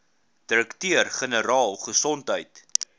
direkteur generaal gesondheid